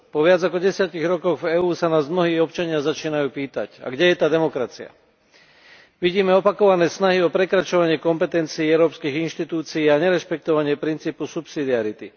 Po viac ako desiatich rokoch v EÚ sa nás mnohí občania začínajú pýtať A kde je tá demokracia? Vidíme opakované snahy o prekračovanie kompetencií európskych inštitúcií a nerešpektovanie princípu subsidiarity.